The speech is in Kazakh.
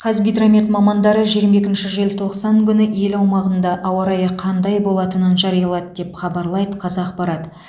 қазгидромет мамандары жиырма екінші желтоқсан күні ел аумағында ауа райы қандай болатынын жариялады деп хабарлайды қазақпарат